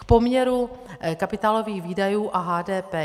K poměru kapitálových výdajů a HDP.